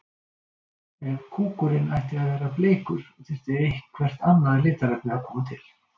Ef kúkurinn ætti að vera bleikur þyrfti eitthvert annað litarefni að koma til.